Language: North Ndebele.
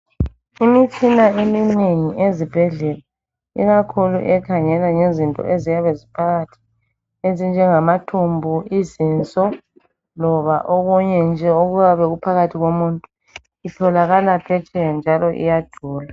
Imitshina eminengi ezibhendlela ikakhulu ekhangela ngezinto eziyabe ziphakathi ezinjenge ngamathumbu izinso loba okunye nje okuyabe kuphakathi komuntu itholaka phetsheya njalo iyadula.